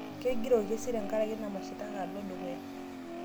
Kegira orkesi tenkaraki ina mashitaka alo dukuya